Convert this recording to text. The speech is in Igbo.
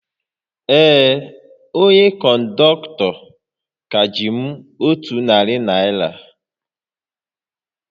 Ee, onye kọndọktọ ka ji m otu narị naira